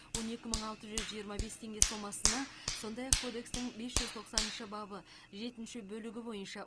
он екі мың алты жүз жиырма бес теңге сомасына сондай ақ кодекстің бес жүз тоқсаныншы бабы жетінші бөлігі бойынша